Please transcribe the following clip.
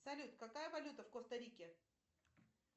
салют какая валюта в коста рике